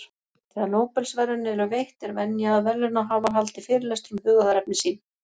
Þegar Nóbelsverðlaun eru veitt, er venja að verðlaunahafar haldi fyrirlestur um hugðarefni sín.